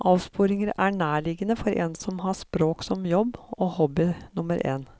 Avsporinger er nærliggende for en som har språk som jobb og hobby nummer én.